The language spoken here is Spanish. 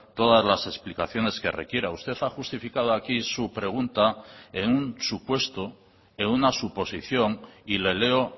todas las explicaciones que requiera usted ha justificado aquí su pregunta en un supuesto en una suposición y le leo